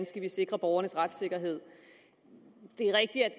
skal sikre borgernes retssikkerhed det er rigtigt at